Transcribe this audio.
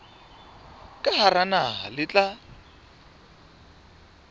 ka hara naha le tla